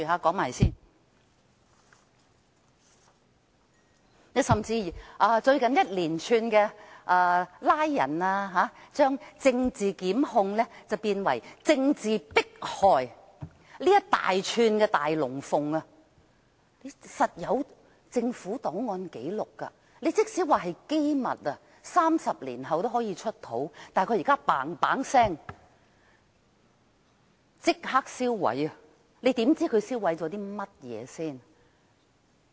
更甚的是，最近出現一連串拘捕行動，將政治檢控變為政治迫害，這一大串的"大龍鳳"必定有政府檔案和紀錄，即使是機密 ，30 年後也可以"出土"，但現時政府極速地即時銷毀，我們如何知道它銷毀了甚麼？